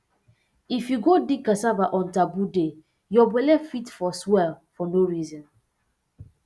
if you go dig cassava on taboo day your belle fit um swell for no reason